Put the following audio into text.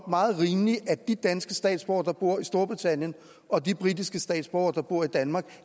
meget rimeligt at de danske statsborgere der bor i storbritannien og de britiske statsborgere der bor i danmark